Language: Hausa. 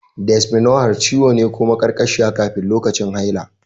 Dysmenorrhea ciwo ne ko maƙarƙashiya kafin ko lokacin haila.